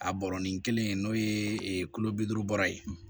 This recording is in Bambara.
A bɔrɔnin kelen n'o ye kulo bi duuru bɔrɔ ye